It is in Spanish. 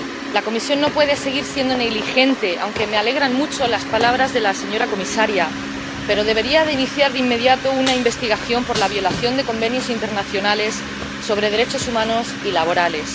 La Comisión no puede seguir siendo negligente, aunque me alegran mucho las palabras de la señora comisaria, pero debería iniciar de inmediato una investigación por la violación de convenios internacionales sobre derechos humanos y laborales.